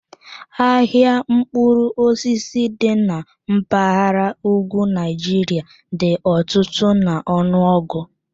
Ahịa mkpụrụ osisi dị na mpaghara ugwu Nigeria dị ọtụtụ n'ọnụọgụ.